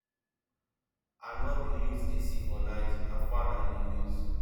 i no dey use ac for night na fan i dey use